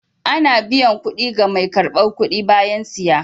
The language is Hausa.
Ana biyan kuɗi ga mai karɓar kuɗi bayan siya.